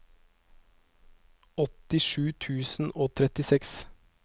åttisju tusen og trettiseks